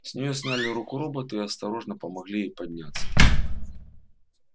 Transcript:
с нее сняли руку робота и осторожно помогли ей подняться